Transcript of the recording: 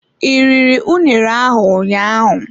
I riri unere ahụ ụnyaahụ?